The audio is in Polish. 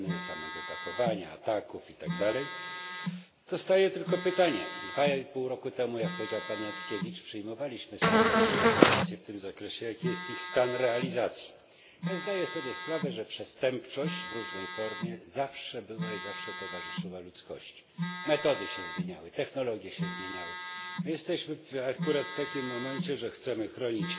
Oczywiście podzielam te poglądy dotyczące negatywnej oceny, samego zachowania, ataków i tak dalej. Zostaje tylko pytanie. Dwa i pół roku temu, jak powiedział pan Jackiewicz, przyjmowaliśmy stosowne deklaracje w tym zakresie. Jaki jest stan ich realizacji? Zdaję sobie sprawę, że przestępczość w różnej formie zawsze była i zawsze towarzyszyła ludzkości. Metody się zmieniały, technologie się zmieniały. My jesteśmy akurat w takim momencie, że chcemy chronić